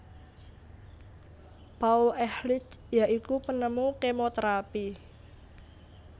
Paul Ehrlich ya iku penemu kemoterapi